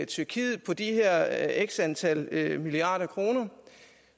tyrkiet på det her x antal milliarder kroner